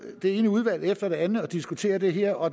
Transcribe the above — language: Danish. det ene udvalg efter det andet og diskuterer det her og